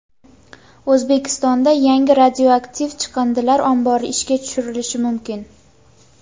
O‘zbekistonda yangi radioaktiv chiqindilar ombori ishga tushirilishi mumkin.